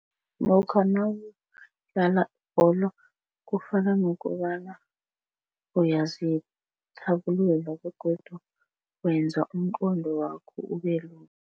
Lokha nawudlala ibholo kufana nokobana uyazithabulula begodu wenza umqondo wakho ubelula.